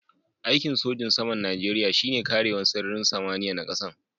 Aiki'n sojin saman Nijeriya shine karewan sararin samaniya na kasan.